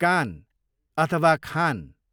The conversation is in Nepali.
कान, अथवा खान